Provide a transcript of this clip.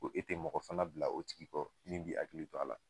Ko e tɛ mɔgɔ fana bila o tigi kɔ min b'a hakili to a la